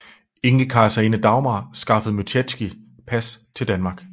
Enkekejserinde Dagmar skaffede Myschetsky pas til Danmark